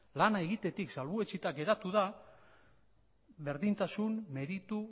lana egitetik salbuetsita geratu da berdintasun meritu